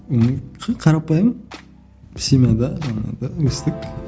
ммм қарапайым семьяда өстік